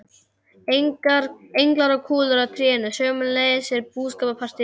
Englar og kúlur á trénu, sömuleiðis úr búskapartíð þeirra.